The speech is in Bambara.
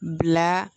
Bila